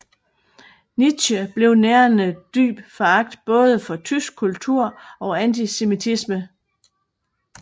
Nietzsche selv nærede dyb foragt både for tysk kultur og antisemitisme